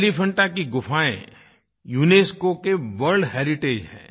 एलीफेंटा की गुफाएँ यूनेस्को के वर्ल्ड हेरिटेज हैं